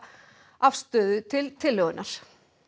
afstöðu til tillögunnar